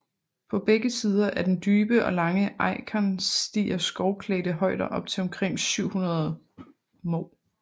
På begge sider af den dybe og lange Eikern stiger skovklædte højder op til omkring 700 moh